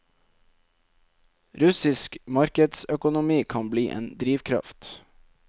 Russisk markedsøkonomi kan bli en drivkraft.